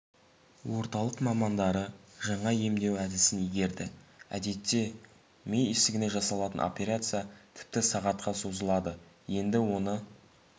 орталық мамандары жаңа емдеу әдісін игерді әдетте ми ісігіне жасалатын операция тіпті сағатқа созылады енді оны